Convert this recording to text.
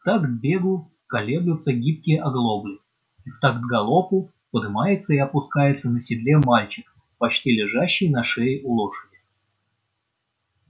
в такт бегу колеблются гибкие оглобли и в такт галопу подымается и опускается на седле мальчик почти лежащий на шее у лошади